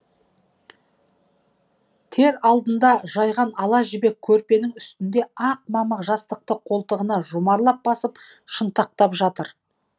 тер алдында жайған ала жібек көрпенің үстінде ақ мамық жастықты қолтығына жұмарлап басып шынтақтап жатыр